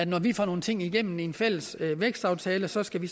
når vi får nogle ting igennem i en fælles vækstaftale så skal vi